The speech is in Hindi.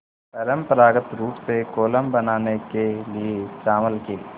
परम्परागत रूप से कोलम बनाने के लिए चावल के